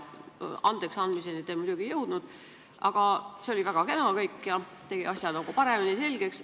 Andeksandmiseni te muidugi ei jõudnud, aga see oli kõik väga kena ja tegi asja paremini selgeks.